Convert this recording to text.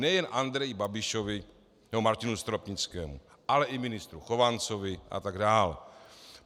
Nejen Andreji Babišovi nebo Martinu Stropnickému, ale i ministru Chovancovi a tak dál.